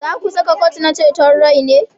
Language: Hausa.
Za ku saka kwot na ceton rai ne?